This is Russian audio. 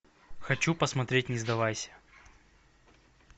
хочу посмотреть не сдавайся